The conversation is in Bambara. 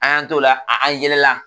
An y'an tola a an yɛlɛla